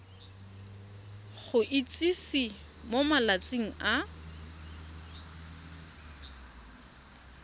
go itsise mo malatsing a